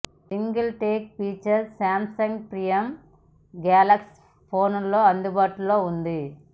single take feature Samsung premium Galaxy ఫోన్లలో అందుబాటులో ఉంది